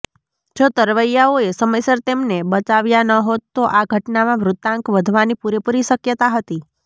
જો તરવૈયાઓએ સમયસર તેમને બચાવ્યા ન હોત તો આ ઘટનામાં મૃતાંક વધવાની પૂરેપૂરી શક્યતા હતી